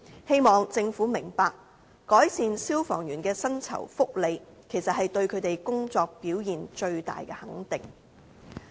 希望政府明白，改善消防員的薪酬福利，其實是對他們工作表現最大的肯定。